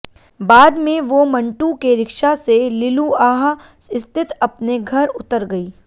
बाद में वो मंटू के रिक्शा से लिलुआह स्थित अपने घर उतर गई